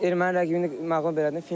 Erməni rəqibini məğlub elədim.